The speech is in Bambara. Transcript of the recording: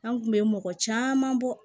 An kun bɛ mɔgɔ caman bɔ